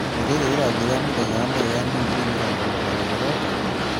Nĩ rĩ rĩ rĩrathi rĩa mũthenya wa mbere rĩa digrii mĩrongo mũgwanja rĩrooka?